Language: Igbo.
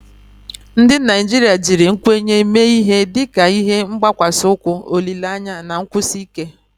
Ndị Naijiria jiri nkwenye mee ihe dịka ihe gbakwasi ukwu olile anya na nkwụsi ike.